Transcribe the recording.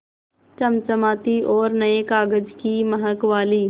चमचमाती और नये कागज़ की महक वाली